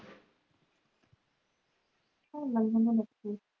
ਹਰਮਨ ਕਹਿੰਦਾ